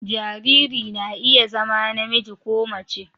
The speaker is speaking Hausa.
Jariri na iya zama namiji ko mace